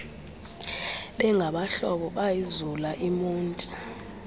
bengabahlobo bayizula imonti